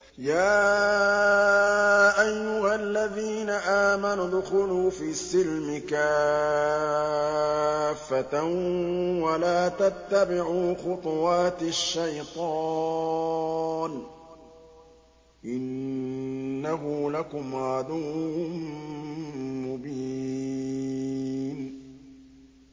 يَا أَيُّهَا الَّذِينَ آمَنُوا ادْخُلُوا فِي السِّلْمِ كَافَّةً وَلَا تَتَّبِعُوا خُطُوَاتِ الشَّيْطَانِ ۚ إِنَّهُ لَكُمْ عَدُوٌّ مُّبِينٌ